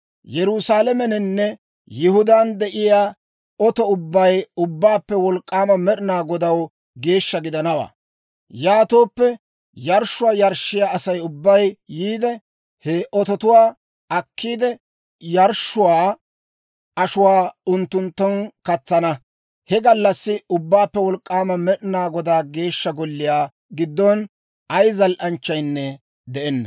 Yerusaalameninne Yihudaan de'iyaa oto ubbay Ubbaappe Wolk'k'aama Med'inaa Godaw geeshsha gidanawaa; yaatooppe yarshshuwaa yarshshiyaa Asay ubbay yiide, he ototuwaa akkiide, yarshshuwaa ashuwaa unttunttun katsanna. He gallassi Ubbaappe Wolk'k'aama Med'inaa Godaa Geeshsha Golliyaa giddon ay zal"anchchaynne de'enna.